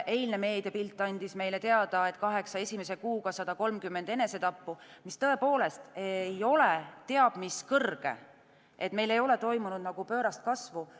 Eilne meediapilt andis meile teada, et kaheksa esimese kuuga oli 130 enesetappu, mis tõepoolest ei ole teab mis kõrge, meil ei ole toimunud pöörast kasvu.